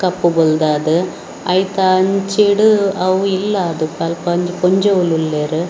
ಕಪ್ಪು ಬೊಲ್ದಾದ್‌ ಐತ ಅಂಚಿಡ್‌ ಅವು ಇಲ್ಲಾದ್‌ ಅಲ್ಪ ಒಂಜಿ ಪೊಂಜೋಲುಲ್ಲೇರ್ .